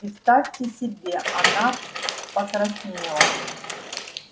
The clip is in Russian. представьте себе она покраснела